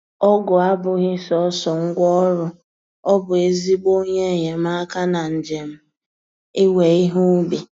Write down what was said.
Ọgụ abụghị sọsọ ngwa ọrụ-ọ bụ ezigbo onye enyemaka na njem iwe ihe ubi